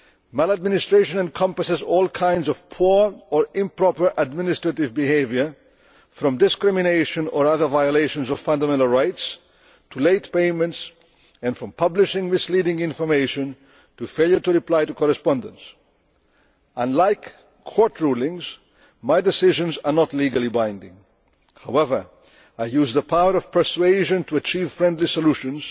Maladministration encompasses all kinds of poor or improper administrative behaviour, from discrimination or other violations of fundamental rights to late payments, and from publishing misleading information to failure to reply to correspondence. Unlike court rulings, my decisions are not legally binding. However, I use the power of persuasion to achieve friendly solutions